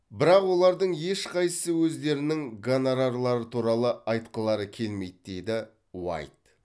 бірақ олардың ешқайсысы өздерінің гонорарлары туралы айтқылары келмейді деді уайт